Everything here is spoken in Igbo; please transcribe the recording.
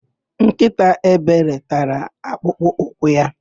Nkịta Ebere tara akpụkpọ ụkwụ ya.